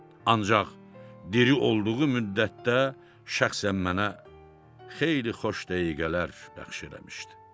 Ancaq diri olduğu müddətdə şəxsən mənə xeyli xoş dəqiqələr bəxş eləmişdi.